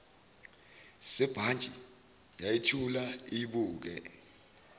sebhantshi yayithula iyibuke